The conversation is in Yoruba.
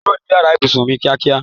Kúrò ni yàrá ibùsùn mí kíákíá